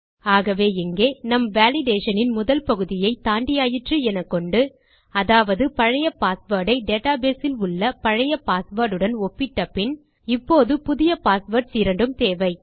ஆகவே இங்கே நம் வேலிடேஷன் இன் முதல் பகுதியை தாண்டியாயிற்று எனக்கொண்டு அதாவது பழைய பாஸ்வேர்ட் ஐ டேட்டாபேஸ் இல் உள்ள பழைய பாஸ்வேர்ட் உடன் ஒப்பிட்ட பின் இப்போது புதிய பாஸ்வேர்ட்ஸ் இரண்டு தேவை